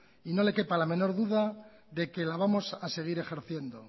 y no le quepa ninguna duda de que la vamos a seguir ejerciendo